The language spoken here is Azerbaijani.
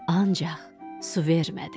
Ancaq su vermədi.